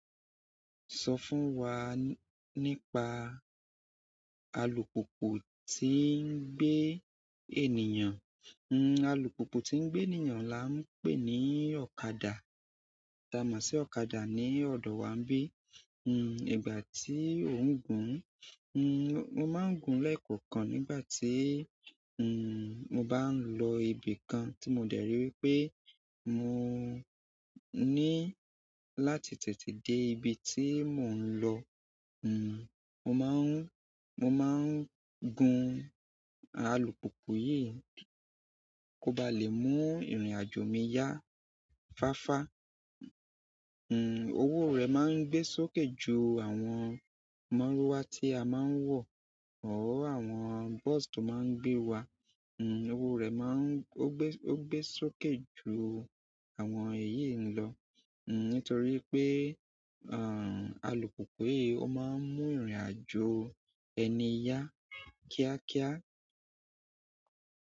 Sọ fún wa nípa alùpùpù tí ń gbé ènìyàn. Alùpùpù tí ń gbé ènìyàn là ń pè ní ọ̀kadà. Èyí ta mọ̀ sí ọ̀kadà ni ọ̀dọ̀ wa ń bí. Hm, ìgbà tí òhùn gùn ún, mo máa n gùn lẹ́ẹ́kọ̀ọ̀kan nígbàtí mo ba ń lọ ibì kan tí mo dẹ̀ ri wípé mo ní láti tètè dé ibi tí mo ń lọ hmm, mo má ń, mo má ń gùn alùpùpù yìí kó ba lè mú ìrìn-àjò mi yá fáfa. Hmm, owó rẹ̀ máa ń gbé sókè ju àwọn mọ́rúwà tí a máa ń wọ̀ or àwọn bus tó máa ń gbé wa. Hmm, owó rẹ̀ má ń, ó gbé, ó gbé sókè ju àwọn èyí lọ. Hmm, nítorí wí pé, àń, alùpùpù yìí ó máa ń mú ìrìn-àjò ẹni yá kíákíá.